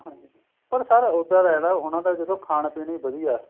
ਹਾਂਜੀ ਪਰ sir ਉੱਧਰ ਏ ਨਾ ਉਹਨਾ ਦਾ ਜਦੋ ਖਾਣ ਪੀਣ ਵਧੀਆ